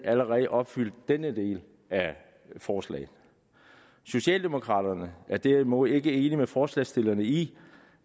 allerede opfyldt denne del af forslaget socialdemokraterne er derimod ikke enige med forslagsstillerne i